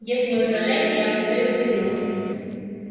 если вы не возражаете я постою у перил